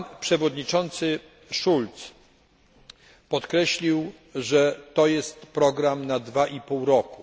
Pan przewodniczący Schulz podkreślił, że to jest program na dwa i pół roku.